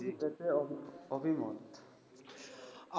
আপনার এতে কি অভিমত?